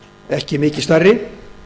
ekki mikið stærri